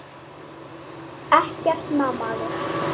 Ekkert má maður!